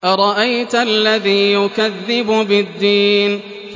أَرَأَيْتَ الَّذِي يُكَذِّبُ بِالدِّينِ